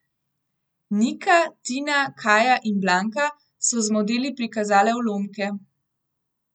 Nika, Tina, Kaja in Blanka so z modeli prikazale ulomke.